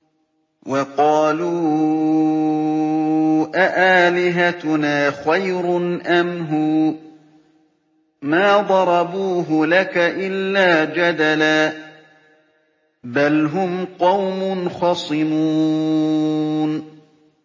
وَقَالُوا أَآلِهَتُنَا خَيْرٌ أَمْ هُوَ ۚ مَا ضَرَبُوهُ لَكَ إِلَّا جَدَلًا ۚ بَلْ هُمْ قَوْمٌ خَصِمُونَ